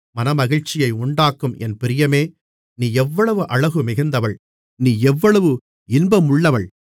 மனமகிழ்ச்சியை உண்டாக்கும் என் பிரியமே நீ எவ்வளவு அழகுமிகுந்தவள் நீ எவ்வளவு இன்பமுள்ளவள்